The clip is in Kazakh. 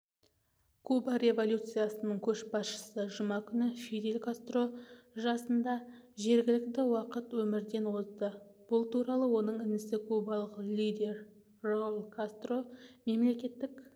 куба революциясының көшбасшысы жұма күні фидель кастро жасында жергілікті уақыт өмірден озды бұл туралы оның інісі кубалық лидер рауль кастро мемлекеттік